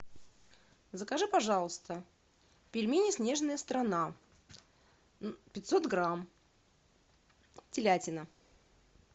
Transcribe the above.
закажи пожалуйста пельмени снежная страна пятьсот грамм телятина